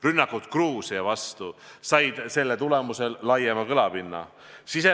Rünnakud Gruusia vastu said selle tulemusel laiema kõlapinna.